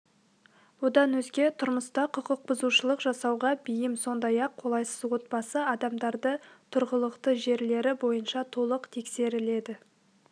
одан өзге тұрмыста құқық бұзушылық жасауға бейім сондай-ақ қолайсыз отбасы адамдарды тұрғылықты жерлері бойынша толық тексеріледі